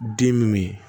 Den min